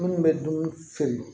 Minnu bɛ dumuni feere